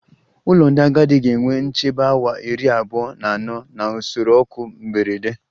Ụlọ ndị agadi ga-enwe nchebe awa iri abuo na ano na usoro oku mberede